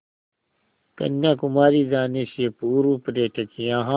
कन्याकुमारी जाने से पूर्व पर्यटक यहाँ